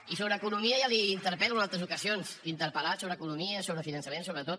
i sobre economia ja l’interpel·lo en altres ocasions l’he interpel·lat sobre economia sobre finançament sobre tot